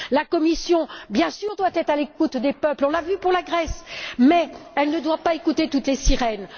La Commission, bien sûr, doit être à l'écoute des peuples on l'a vu pour la Grèce mais elle ne doit pas écouter toutes les sirènes.